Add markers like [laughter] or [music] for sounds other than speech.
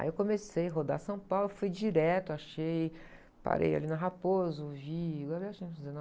Aí eu comecei a rodar São Paulo, fui direto, achei, parei ali na Raposo, vi, na verdade eu... [unintelligible]